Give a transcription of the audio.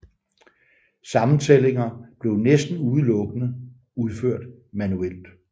Sammentællinger blev næsten udelukkende udført manuelt